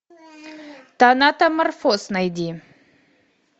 танатоморфоз найди